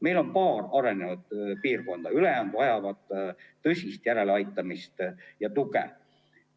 Meil on paar arenenud piirkonda, ülejäänud vajavad tõsist järeleaitamist ja tuge.